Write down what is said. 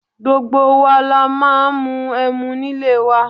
Gbogbo wa la máa ń mú ẹmu nílé wa.